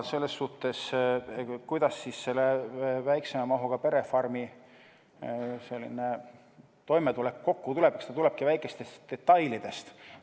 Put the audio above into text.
Väiksema mahuga perefarmi toimetulek tulebki kokku väikestest detailidest.